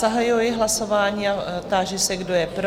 Zahajuji hlasování a táži se, kdo je pro?